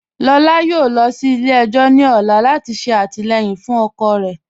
Lọlá yọ̀ọ̀ lọ sí ilẹ̀-ẹjọ̀ ni ọ̀lá lati ṣe atilẹyin fun ọkọ rẹ.